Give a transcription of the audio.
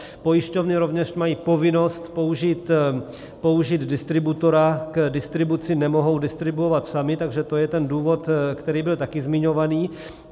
Pojišťovny rovněž mají povinnost použít distributora k distribuci, nemohou distribuovat samy, takže to je ten důvod, který byl taky zmiňovaný.